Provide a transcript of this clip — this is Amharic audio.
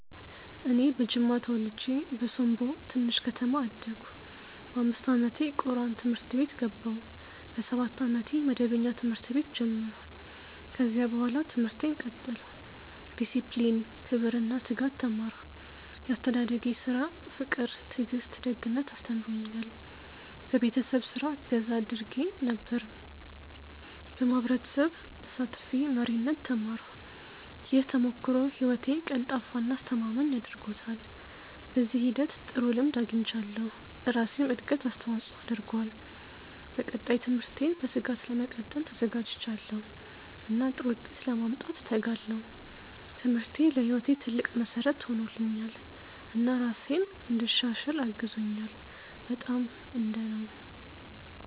እኔ በጅማ ተወልጄ በሶምቦ ትንሽ ከተማ አደግሁ። በ5 ዓመቴ ቁርአን ትምህርት ቤት ገባሁ። በ7 ዓመቴ መደበኛ ትምህርት ቤት ጀመርሁ። ከዚያ በኋላ ትምህርቴን ቀጠልሁ። ዲሲፕሊን፣ ክብር እና ትጋት ተማርሁ። ያስተዳደጌ ስራ ፍቅር ትዕግስት ደግነት አስተምሮኛል። በቤተሰብ ስራ እገዛ አድርጌ ነበር። በማህበረሰብ ተሳትፌ መሪነት ተማርሁ። ይህ ተሞክሮ ህይወቴን ቀልጣፋ እና አስተማማኝ አድርጎታል። በዚህ ሂደት ጥሩ ልምድ አግኝቻለሁ፣ ለራሴም እድገት አስተዋፅኦ አድርጓል። በቀጣይ ትምህርቴን በትጋት ለመቀጠል ተዘጋጅቻለሁ እና ጥሩ ውጤት ለማምጣት እተጋለሁ። ትምህርቴ ለህይወቴ ትልቅ መሠረት ሆኖልኛል እና ራሴን እንድሻሽል አግዞኛል። በጣም። እንደ ነው።